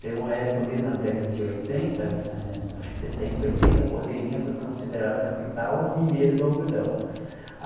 Teve uma época mesmo na década de oitenta, eh acho que setenta, oitenta, Porteirinha foi considerada a capital mineira do algodão.